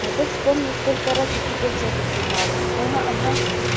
а ты вспомни сколько раз я тебе в жопу пенала ага ага